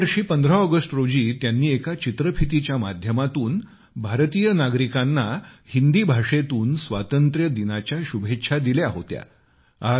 या वर्षी 15 ऑगस्ट रोजी त्यांनी एका चित्रफितीच्या माध्यमातून भारतीय नागरिकांना हिंदी भाषेतून स्वातंत्र्यदिनाच्या शुभेच्छा दिल्या होत्या